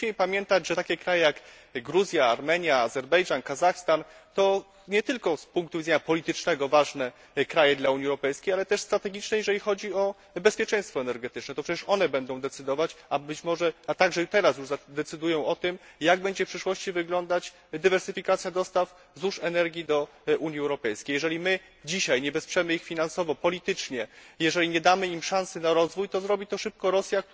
Przecież musimy pamiętać, że takie kraje jak Gruzja, Armenia, Azerbejdżan, Kazachstan, to nie tylko z punktu widzenia politycznego ważne kraje dla Unii Europejskiej, ale też strategiczne, jeżeli chodzi o bezpieczeństwo energetyczne. To przecież one będą decydować, a także teraz już decydują o tym, jak będzie w przyszłości wyglądać dywersyfikacja dostaw złóż energii do Unii Europejskiej. Jeżeli dzisiaj nie wesprzemy ich finansowo, politycznie, jeżeli nie damy im szansy na rozwój, to zrobi to szybko Rosja,